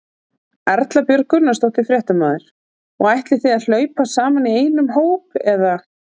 Erla Björg Gunnarsdóttir, fréttamaður: Og ætlið þið að hlaupa saman í einum hóp eða?